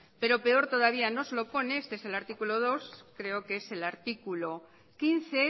pero peor todavía nos lo pone este es el artículo dos creo que es el artículo quince